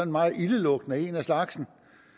meget ildelugtende en af slagsen